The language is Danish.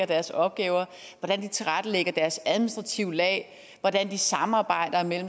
deres opgaver hvordan de tilrettelægger deres administrative lag hvordan de samarbejder